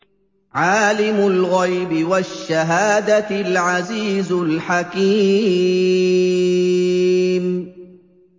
عَالِمُ الْغَيْبِ وَالشَّهَادَةِ الْعَزِيزُ الْحَكِيمُ